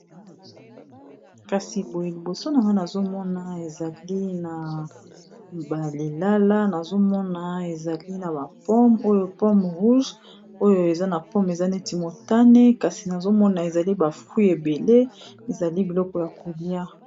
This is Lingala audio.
liboso na nga nazomona ezali na balilala nazomona ezali na bapome oyo pome rouge oyo eza na pome eza neti motane kasi nazomona ezali bafruit ebele ezali biloko ya kolia